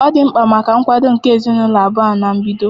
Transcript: Ọ dị mkpa maka nkwado nke ezinụlọ abụọ ahụ na mbedo.